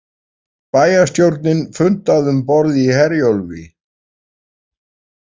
Bæjarstjórnin fundaði um borð í Herjólfi